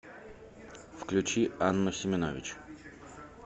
включи анну семенович